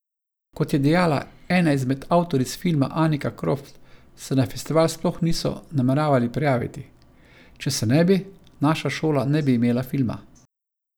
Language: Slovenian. Kot je dejala ena izmed avtoric filma Anika Kropf, se na festival sploh niso nameravale prijaviti: "Če se ne bi, naša šola ne bi imela filma.